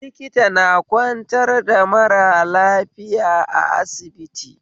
Likita na kwantar da mara lafiya a asibiti